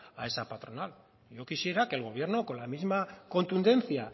a esa patronal y yo quisiera que el gobierno que con la misma contundencia